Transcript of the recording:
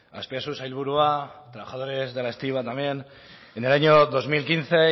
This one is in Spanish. azpiazu sailburua trabajadores de la estiba también en el año dos mil quince